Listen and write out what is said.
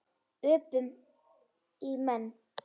Öpum í menn.